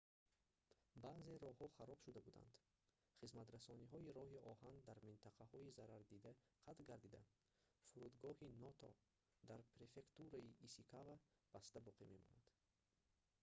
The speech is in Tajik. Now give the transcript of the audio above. баъзе роҳҳо хароб шуда буданд хизматрасониҳои роҳи оҳан дар минтақаҳои зарардида қатъ гардида фурудгоҳи ното дар префектураи исикава баста боқӣ мемонад